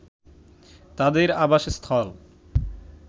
তাদের আবাসস্থল